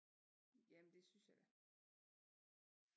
Jamen det synes jeg da